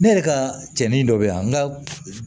Ne yɛrɛ ka cɛnni dɔ be yen yan n ka